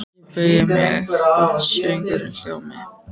Ég beygi mig ekki þótt söngurinn hljómi: